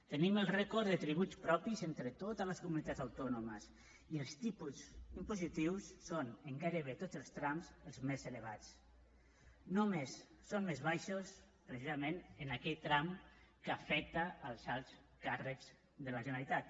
tenim el rècord de tributs propis entre totes les comunitats autònomes i els tipus impositius són en gairebé tots els trams els més elevats només són més baixos precisament en aquell tram que afecta els alts càrrecs de la generalitat